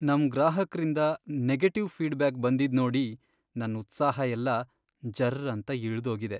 ನಮ್ ಗ್ರಾಹಕ್ರಿಂದ negative feedback ಬಂದಿದ್ನೋಡಿ ನನ್ ಉತ್ಸಾಹ ಎಲ್ಲ ಜರ್ರಂತ ಇಳ್ದೋಗಿದೆ.